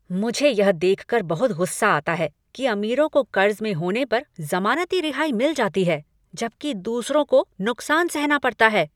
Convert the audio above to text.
मुझे यह देखकर बहुत गुस्सा आता है कि अमीरों को कर्ज में होने पर जमानती रिहाई मिल जाती है जबकि दूसरों को नुकसान सहना पड़ता है।